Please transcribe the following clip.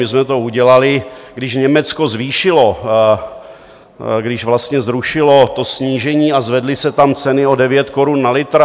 My jsme to udělali, když Německo zvýšilo, když vlastně zrušilo to snížení a zvedly se tam ceny o 9 korun na litr.